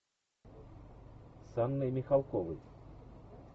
с анной михалковой